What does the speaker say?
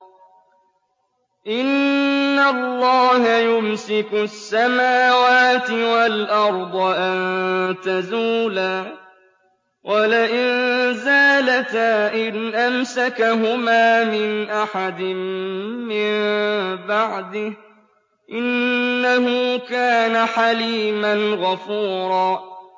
۞ إِنَّ اللَّهَ يُمْسِكُ السَّمَاوَاتِ وَالْأَرْضَ أَن تَزُولَا ۚ وَلَئِن زَالَتَا إِنْ أَمْسَكَهُمَا مِنْ أَحَدٍ مِّن بَعْدِهِ ۚ إِنَّهُ كَانَ حَلِيمًا غَفُورًا